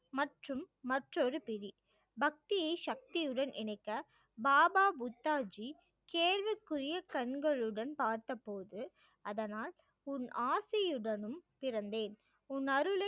மற்றும் மற்றொரு பக்தி சக்தியுடன் இணைக்க பாபா புத்தா ஜீ கேள்விக்குரிய கண்களுடன் பார்த்த போது அதனால் உன் ஆசையுடனும் பிறந்தேன் உன்னருளை